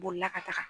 Bolila ka taga